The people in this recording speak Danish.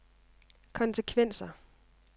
konsekvenser